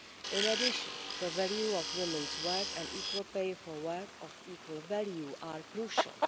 In addition, the value of women's work and equal pay for work of equal value are crucial.